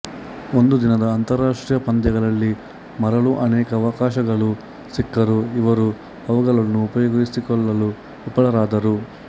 ಒಂದು ದಿನದ ಅಂತರ್ರಾಷ್ಟ್ರೀಯ ಪಂದ್ಯಗಳಲ್ಲಿ ಮರಳಲು ಅನೇಕ ಅವಕಾಶಗಳು ಸಿಕ್ಕರೂ ಇವರು ಅವುಗಳನ್ನು ಉಪಯೋಗಿಸಿಕೊಳ್ಳಲು ವಿಫಲರಾದರು